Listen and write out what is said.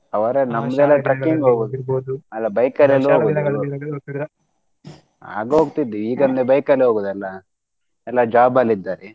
ಅವರ ನಮ್ದದೆಲ್ಲಾ trekking ಅಲ್ಲಾ bike ಲಿ ಎಲೂ ಆಗ ಹೋಗ್ತಿದ್ವಿ ಈಗ ಒಂದು bike ಲಿ ಹೋಗುದಲ್ಲ ಎಲ್ಲಾ job ಲಿ ಇದ್ದಾರೆ.